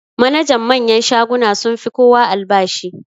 Manajan manyan shaguna sun fi kowa albashi.